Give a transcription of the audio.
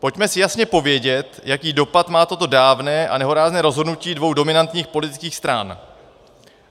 Pojďme si jasně povědět, jaký dopad má toto dávné a nehorázné rozhodnutí dvou dominantních politických stran.